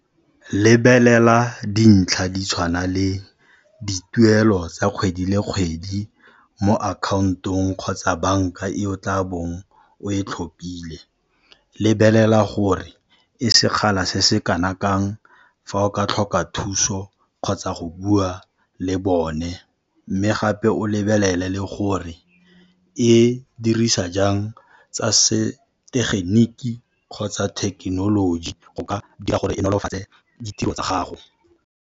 Lebelela dintlha di tshwana le dituelo tsa kgwedi le kgwedi mo akhaontong kgotsa banka e o tla bong o e tlhophile. Lebelela gore e sekgala se se kana kang fa o ka tlhoka thuso kgotsa go bua le bone, mme gape o lebelele le gore e dirisa jang tsa setegeniki kgotsa thekenoloji go ka dira gore e nolofatse ditiro tsa gago.